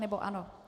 Nebo ano?